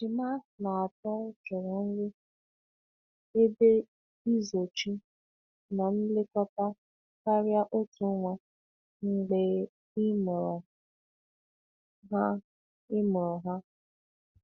Ejima na atọ chọrọ nri, ebe izochi, na nlekọta karịa otu nwa mgbe e mụrụ ha. e mụrụ ha.